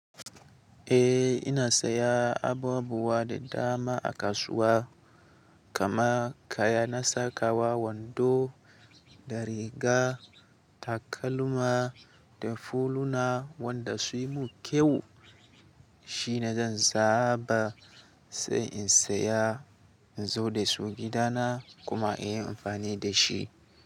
Eh ina saya abubuwa da dama a kasuwa. Kama kaya na sakawa wando da riga, takalma da fuluna wanda su yi mun kyau shine zan zaɓa sai in saya inzo da su gida na kuma in yi amfani da shi.